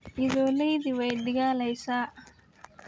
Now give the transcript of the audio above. Idholeydhi way digaleysa.